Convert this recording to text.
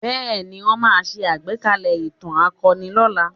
Bẹ́ẹ̀ ni, wọn máa ṣe agbekalẹ̀ ìtàn akọni lọ́la